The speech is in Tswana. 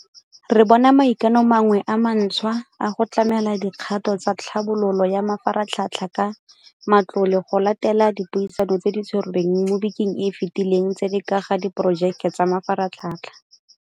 Re bona maikano a mangwe a mantšhwa a go tlamela dikgato tsa tlhabololo ya mafaratlhatlha ka matlole go latela dipuisano tse di tshwerweng mo bekeng e e fetileng tse di ka ga diporojeke tsa mafaratlhatlha.